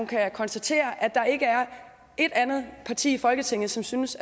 kan konstatere at der ikke er ét andet parti i folketinget som synes